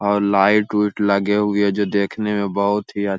और लाइट लुइट लगे हुए है जो देकने में बहुत ही अ --